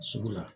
Sugu la